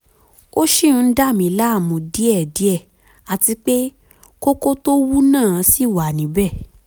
ó ṣì ń dà mí láàmú díẹ̀díẹ̀ àti pé kókó tó wú náà ṣì wà níbẹ̀